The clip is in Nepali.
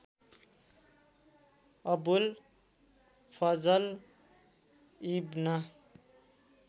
अबुल फजल इब्न